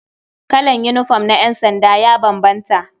Kalan yinifom na ƴansanda ya bambanta.